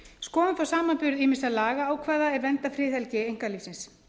skoðum þá samanburð ýmissa lagaákvæða er vernda friðhelgi einkalífsins